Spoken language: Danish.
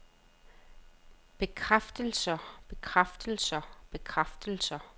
bekræftelser bekræftelser bekræftelser